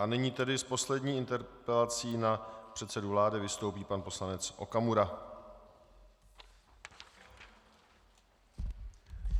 A nyní tedy s poslední interpelací na předsedu vlády vystoupí pan poslanec Okamura.